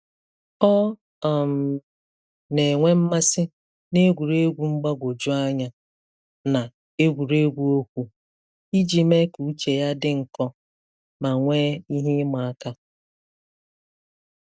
Ọ um na-enwe mmasị na egwuregwu mgbagwoju anya na egwuregwu okwu, iji mee ka uche ya dị nkọ ma nwee ihe ịma aka.